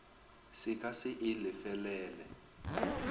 se ka se e lefelele